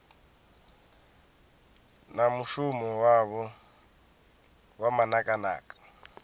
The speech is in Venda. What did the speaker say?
na mushumo wavho wa manakanaka